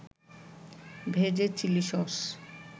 ভেজে chilli sauce